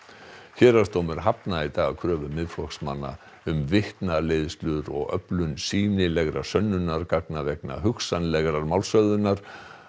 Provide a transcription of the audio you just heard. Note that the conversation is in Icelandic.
héraðsdómur hafnaði í dag kröfu Miðflokksmanna um vitnaleiðslur og öflun sýnilegra sönnunargagna vegna hugsanlegrar málshöfðunar